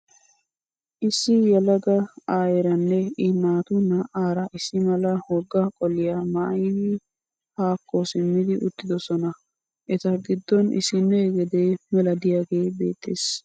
Issi yelaga aayeeranne I naatu naa''aara issi mala wogga qoliyaa maayyidi haakko simmidi uttidosona. Eta giddon issinne gede mela diyaagee beettes.